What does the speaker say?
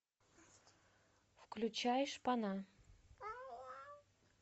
включай шпана